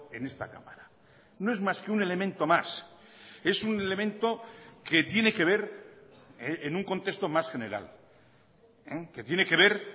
en esta cámara no es más que un elemento más es un elemento que tiene que ver en un contexto más general que tiene que ver